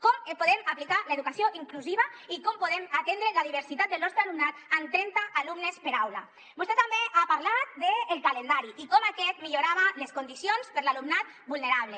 com podem aplicar l’educació inclusiva i com podem atendre la diversitat del nostre alumnat amb trenta alumnes per aula vostè també ha parlat del calendari i de com aquest millorava les condicions per a l’alumnat vulnerable